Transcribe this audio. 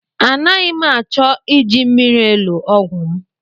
Anaghị m achọ iji mmiri elo ọgwụ m.